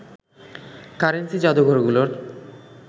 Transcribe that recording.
currency যাদুঘরগুলোর